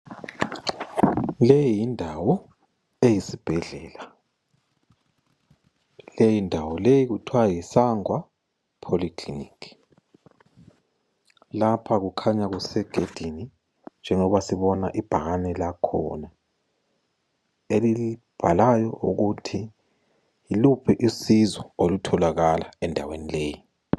Le yindawo eyisibhedlela. Leyindawo kuthiwa yiSangwa Poly Clinic. Lapha kukhanya kusegedini njengoba sibona ibhakane lakhona elibhalayo ukuthi yiluphi usizo olutholakala endaweni leyi.